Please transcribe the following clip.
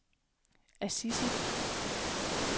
Assisi